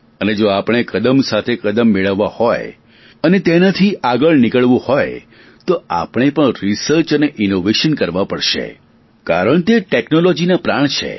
અને જો આપણે કદમ સાથે કદમ મેળવવા હોય અને તેનાથી આગળ નીકળવું હોય તો આપણે પણ રિસર્ચ સંશોધન અને ઇનોવેશન નાવીન્ય કરવા પડશે કારણ તે ટેકનોલોજીના પ્રાણ છે